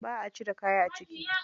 Za a cire kaya a ciki.